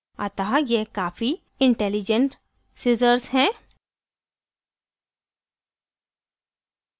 अतः यह काफ़ी intelligent सिज़र्ज़ है